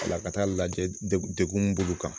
La ka taa lajɛ dek dekun mun b'ulu kan.